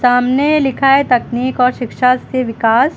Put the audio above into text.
सामने लिखा है तकनीक और शिक्षा से विकास।